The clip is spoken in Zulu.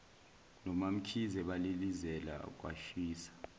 nomamkhize balilizela kwashisa